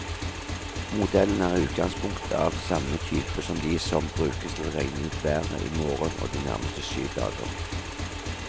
Modellen er i utgangspunktet av samme type som de som brukes til å regne ut været i morgen og de nærmeste syv dager.